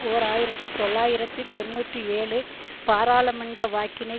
ஓர் ஆயிரத்தி தொள்ளாயிரத்தி தொன்னூற்றி ஏழு பாராளுமன்ற வாக்கினை